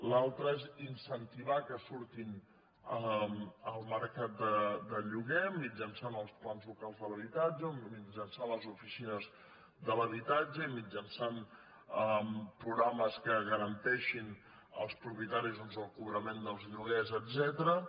l’altra és incentivar que surtin al mercat de lloguer mitjançant els plans locals de l’habitatge o mitjançant les oficines de l’habitatge i mitjançant programes que garanteixin als propietaris doncs el cobrament dels lloguers etcètera